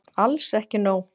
Alls ekki nóg.